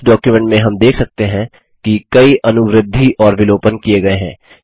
इस डॉक्युमेंट में हम देख सकते हैं कि कई अनुवृद्धिएडिशन और विलोपन किये गये हैं